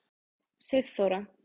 Sigþóra